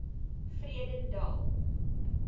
vredendal